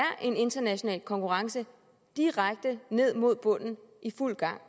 en international konkurrence direkte ned mod bunden i fuld gang